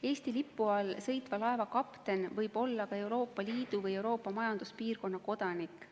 Eesti lipu all sõitva laeva kapten võib olla ka Euroopa Liidu või Euroopa Majanduspiirkonna kodanik.